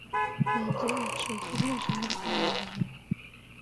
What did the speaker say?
найди лучшие фильмы жанра комедии